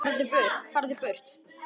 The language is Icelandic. FARÐU BURT